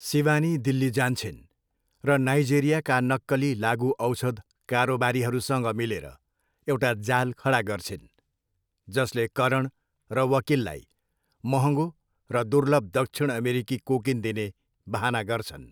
सिवानी दिल्ली जान्छिन् र नाइजेरियाका नक्कली लागुऔषध कारोबारीहरूसँग मिलेर एउटा जाल खडा गर्छिन्, जसले करण र वकिललाई महँगो र दुर्लभ दक्षिण अमेरिकी कोकिन दिने बहाना गर्छन्।